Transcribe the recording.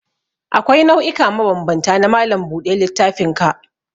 Akwai nau'ika mabambanta na malam buɗe littafinka.